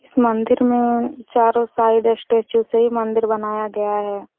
इस मंदिर में चारों साइड स्टेचू से ही मंदिर बनाया गया हैं।